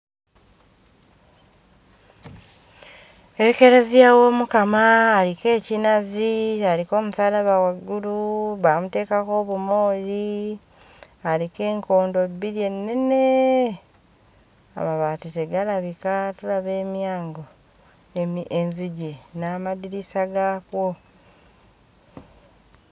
Ekeleziya w'Omukama aliko ekinazi, aliko omusaalaba waggulu, baamuteekako obumooli, aliko enkondo bbiri ennene! Amabaati tegalabika, tulaba emyango, enzigi n'amadirisa gaakwo.